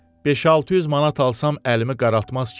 5-600 manat alsam əlimi qaraltmaz ki?